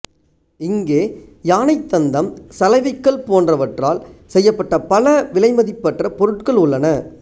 இங்கே யானைத் தந்தம் சலவைக்கல் போன்றவற்றால் செய்யப்பட்ட பல விலைமதிப்பற்ற பொருட்கள் உள்ளன